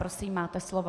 Prosím, máte slovo.